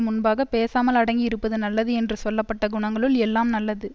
முன்பாகப் பேசாமல் அடங்கி இருப்பது நல்லது என்று சொல்ல பட்ட குணங்களுள் எல்லாம் நல்லது